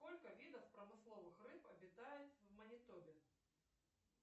сколько видов промысловых рыб обитает в манитобе